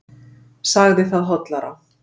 Sagði það hollara.